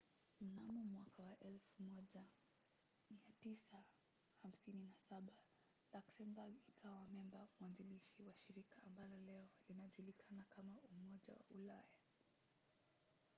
mnamo 1957 luxembourg ikawa memba mwanzilishi wa shirika ambalo leo linajulikana kama umoja wa ulaya